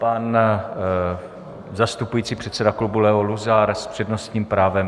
Pan zastupující předseda klubu Leo Luzar s přednostním právem.